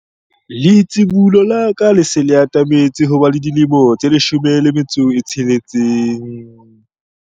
Letsibolo la ka le se le atametse ho ba le dilemo tse 16.